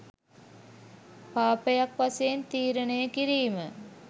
පාපයක් වශයෙන් තීරණය කිරීම